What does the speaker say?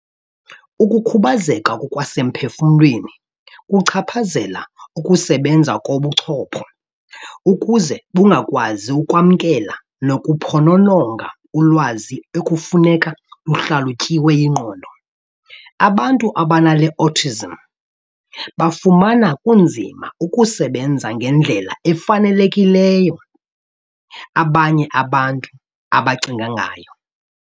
Ukukhubazeka ngokwasemphefumlweni kuchaphazela ukusebenza kobuchopho ukuze bungakwazi ukwamkela nokuphonononga ulwazi ekufuneka luhlalutyiwe yingqondo. Abantu abanale Autism bafumana kunzima ukusebenza ngendlela efanelekileyo abanye abantu abacinga ngayo.